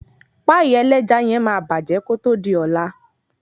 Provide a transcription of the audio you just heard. Páìk. ẹlẹ́ja yen máa kòtò di ọ̀la.